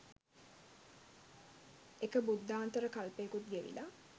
එක බුද්ධාන්තර කල්පයකුත් ගෙවිලා